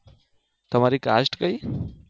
તમારી caste કઈ?